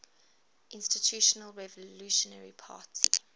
institutional revolutionary party